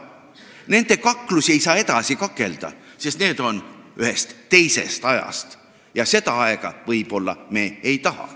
Nende kaklusi ei saa edasi kakelda, sest need on ühest teisest ajast ja seda aega me võib-olla ei taha.